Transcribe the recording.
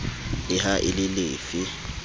le ha e le lefe